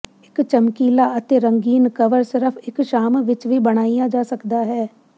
ਇਕ ਚਮਕੀਲਾ ਅਤੇ ਰੰਗੀਨ ਕਵਰ ਸਿਰਫ ਇਕ ਸ਼ਾਮ ਵਿਚ ਹੀ ਬਣਾਇਆ ਜਾ ਸਕਦਾ ਹੈ